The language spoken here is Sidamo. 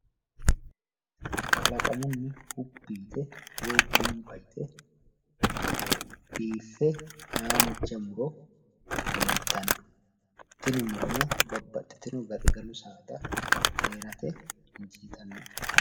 Kalaqamunni hubbi yite woyi gamba yite biiffe haanja muro leeltanno. Tini murono babbaxxitino gaxigalu saada heerate injiitannote.